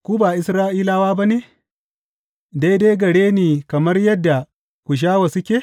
Ku ba Isra’ilawa ba ne, daidai gare ni kamar yadda Kushawa suke?